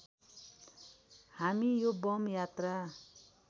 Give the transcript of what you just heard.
हामी यो बम यात्रा